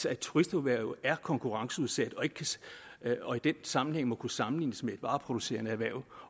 at turisterhvervet er konkurrenceudsat og i den sammenhæng må kunne sammenlignes med et vareproducerende erhverv